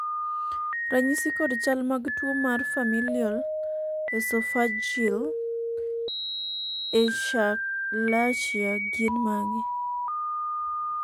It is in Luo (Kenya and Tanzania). ranyisi kod chal mag tuo mar Familial esophageal achalasia gin mage?